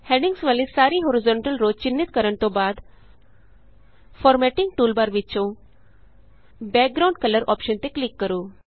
headings ਵਾਲੀ ਸਾਰੀ horizontal row ਚਿੰਨ੍ਹਿਤ ਕਰਨ ਤੋਂ ਬਾਅਦ ਫਾਰਮੈੱਟਿੰਗ ਟੂਲਬਾਰ ਵਿਚੋਂ ਬੈਕਗਰਾਉਂਡ ਕਲਰ ਅੋਪਸ਼ਨ ਤੇ ਕਲਿਕ ਕਰੋ